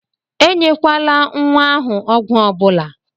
E nyekwala nwa ahụ ọgwụ ọbụla!